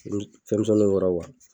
Iru fɛn misɛnninw wɔrɔ wa